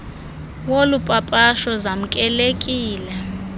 wolu papasho zamkelekile